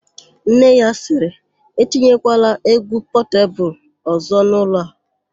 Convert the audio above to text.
Nne ya sịrị, "etinyekwala égwú Pọtebulu ọ̀zọ́ n'ụlọ a "!